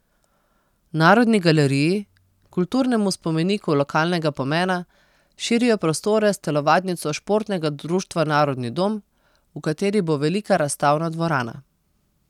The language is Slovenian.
Narodni galeriji, kulturnemu spomeniku lokalnega pomena, širijo prostore s telovadnico Športnega društva Narodni dom, v kateri bo velika razstavna dvorana.